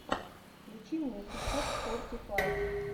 включи мне хикок форти файв